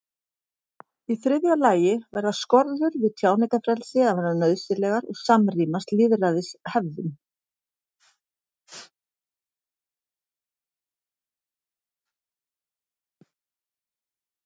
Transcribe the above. í þriðja lagi verða skorður við tjáningarfrelsi að vera nauðsynlegar og samrýmast lýðræðishefðum